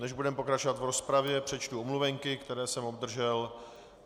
Než budeme pokračovat v rozpravě, přečtu omluvenky, které jsem obdržel.